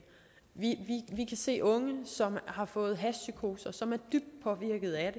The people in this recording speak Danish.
vi kan se unge som har fået hashpsykoser og som er dybt påvirket af